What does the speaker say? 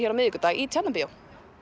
í Tjarnarbíó